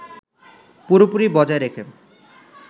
পুরোপুরি বজায় রেখে